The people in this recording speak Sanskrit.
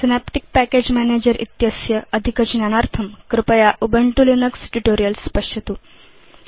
सिनेप्टिक् पैकेज मैनेजर इत्यस्य अधिकज्ञानार्थम् कृपया उबुन्तु लिनक्स ट्यूटोरियल्स् पश्यतु